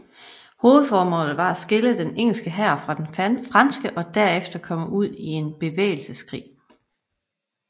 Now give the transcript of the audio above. Hovedformålet var at skille den engelske hær fra den franske og derefter komme ud i bevægelseskrig